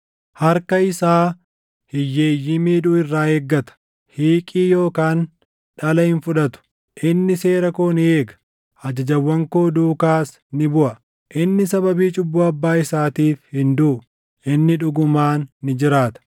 Harka isaa hiyyeeyyii miidhuu irraa eeggata; hiiqii yookaan dhala hin fudhatu. Inni seera koo ni eega; ajajawwan koo duukaas ni buʼa. Inni sababii cubbuu abbaa isaatiif hin duʼu; inni dhugumaan ni jiraata.